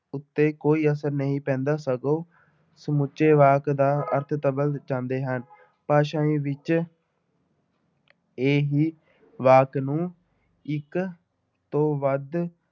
ਉੱਤੇ ਕੋਈ ਅਸਰ ਨਹੀਂ ਪੈਂਦਾ ਸਗੋਂ ਸਮੁੱਚੇ ਵਾਕ ਦਾ ਅਰਥ ਜਾਂਦੇ ਹਨ, ਭਾਸ਼ਾਈ ਵਿੱਚ ਇਹੀ ਵਾਕ ਨੂੰ ਇੱਕ ਤੋਂ ਵੱਧ